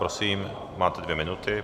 Prosím, máte dvě minuty.